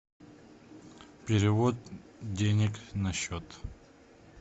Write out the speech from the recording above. перевод денег на счет